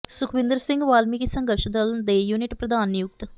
ਸੁਖਵਿੰਦਰ ਸਿੰਘ ਵਾਲਮੀਕਿ ਸੰਘਰਸ਼ ਦਲ ਦੇ ਯੂਨਿਟ ਪ੍ਰਧਾਨ ਨਿਯੁਕਤ